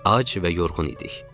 Ac və yorğun idik.